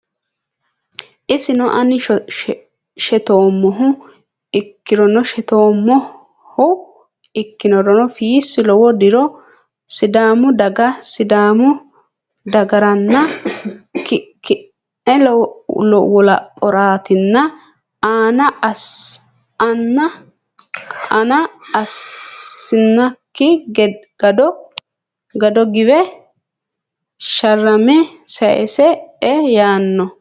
Isino ani shittoommohu Ikkirono Fiissi lowo diro Sidaamu daga Sidaamu dagaranna ki ne wolaphoraatina aana assinanni kado giwe sharramanni sayisse e yaano.